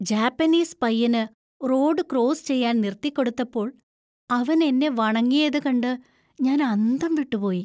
Japanese പയ്യന് road cross ചെയ്യാൻ നിർത്തിക്കൊടുത്തപ്പോള്‍ അവന്‍ എന്നെ വണങ്ങിയത് കണ്ട് ഞാൻ അന്തം വിട്ടുപോയി.